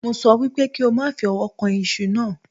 Mo sọ wípé kí o má fi ọwọ́ kan iṣu náà